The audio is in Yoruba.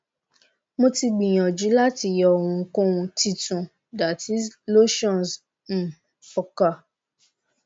mo ti gbiyanju lati yọ ohunkohun titun that is lotions um fọkà